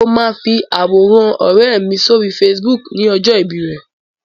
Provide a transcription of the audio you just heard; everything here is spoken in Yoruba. Mo máa fi àwòrán ọ̀rẹ́ mi sóri Facebook ní ọjọ́ ìbí rẹ̀.